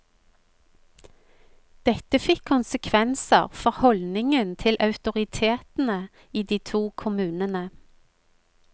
Dette fikk konsekvenser for holdningen til autoritetene i de to kommunene.